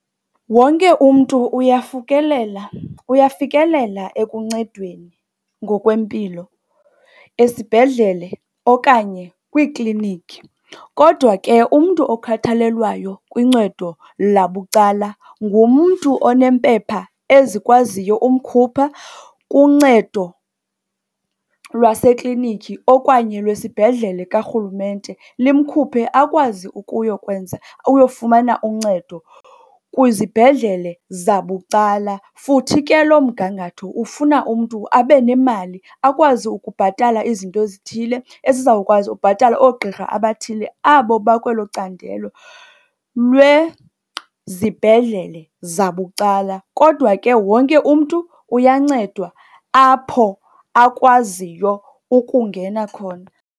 Wonke umntu uyafikelela ekuncedweni ngokwempilo esibhedlele okanye kwiiklinikhi. Kodwa ke umntu okhathalelwayo kuncedo labucala ngumntu onempepha ezikwaziyo umkhupha kuncedo lwaseklinikhi okanye lwesibhedlele karhulumente. Limkhuphe, akwazi ukuyokwenza uyofumana uncedo kwizibhedlele zabucala. Futhi ke loo mgangatho ufuna umntu abe nemali, akwazi ukubhatala izinto ezithile ezizawukwazi ubhatala oogqirha abathile abo bakwelo candelo lwezibhedlele zabucala. Kodwa ke wonke umntu uyancedwa apho akwaziyo ukungena khona.